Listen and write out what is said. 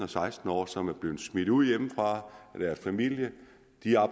seksten år som er blevet smidt ud hjemmefra af deres familie